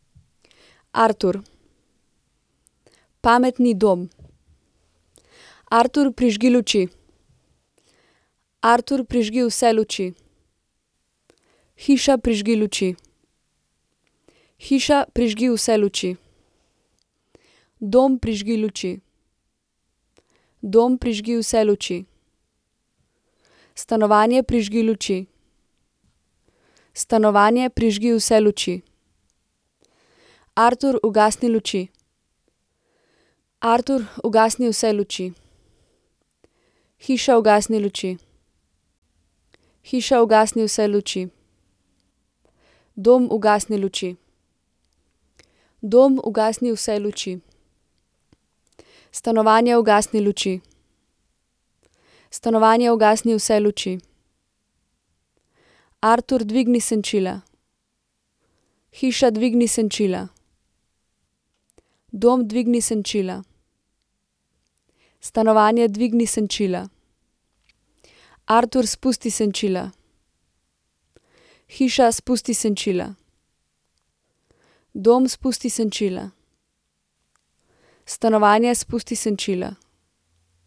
Artur. Pametni dom. Artur, prižgi luči. Artur, prižgi vse luči. Hiša, prižgi luči. Hiša, prižgi vse luči. Dom, prižgi luči. Dom, prižgi vse luči. Stanovanje, prižgi luči. Stanovanje, prižgi vse luči. Artur, ugasni luči. Artur, ugasni vse luči. Hiša, ugasni luči. Hiša, ugasni vse luči. Dom, ugasni luči. Dom, ugasni vse luči. Stanovanje, ugasni luči. Stanovanje, ugasni vse luči. Artur, dvigni senčila. Hiša, dvigni senčila. Dom, dvigni senčila. Stanovanje, dvigni senčila. Artur, spusti senčila. Hiša, spusti senčila. Dom, spusti senčila. Stanovanje, spusti senčila.